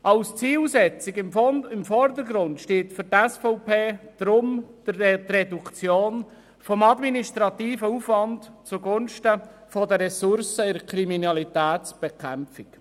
Als Zielsetzung im Vordergrund steht für die SVP deswegen die Reduktion des administrativen Aufwands zugunsten der Ressourcen in der Kriminalitätsbekämpfung.